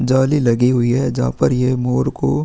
जाली लगी हुई है जहाँ पर ये मोर को --